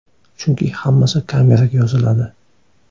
Chunki hammasi kameraga yoziladi.